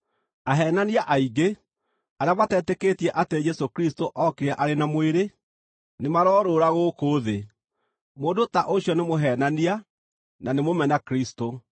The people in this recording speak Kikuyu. Aheenania, aingĩ arĩa matetĩkĩtie atĩ Jesũ Kristũ ookire arĩ na mwĩrĩ, nĩmarorũũra gũkũ thĩ. Mũndũ ta ũcio nĩ mũheenania na nĩ mũmena-Kristũ.